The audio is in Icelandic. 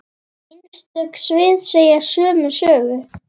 Einstök svið segja sömu sögu.